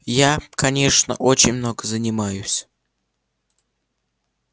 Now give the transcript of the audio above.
я конечно очень много занимаюсь